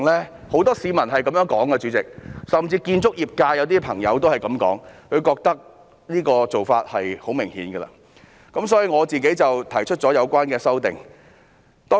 主席，很多市民都這樣說的，甚至有些建築業界的朋友亦這樣說，他們認為這個做法是很明顯的，所以我提出了相關修正案。